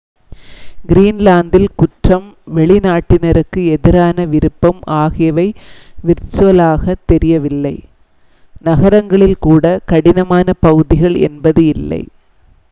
"கிரீன்லாந்தில் குற்றம் வெளிநாட்டினருக்கு எதிரான விருப்பம் ஆகியவை விர்ச்சுவலாக தெரியவில்லை. நகரங்களில் கூட "கடினமான பகுதிகள்" என்பது இல்லை.